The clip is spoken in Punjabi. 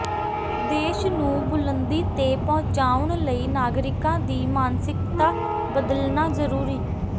ਦੇਸ਼ ਨੂੰ ਬੁਲੰਦੀ ਤੇ ਪਹੁੰਚਾਉਣ ਲਈ ਨਾਗਰਿਕਾਂ ਦੀ ਮਾਨਸਿਕਤਾ ਬਦਲਣਾ ਜ਼ਰੂਰੀ